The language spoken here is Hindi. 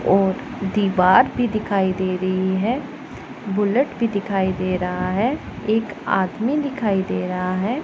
और दीवार भी दिखाई दे रही है बुलेट भी दिखाई दे रहा है एक आदमी दिखाई दे रहा है।